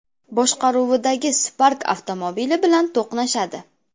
boshqaruvidagi Spark avtomobili bilan to‘qnashadi.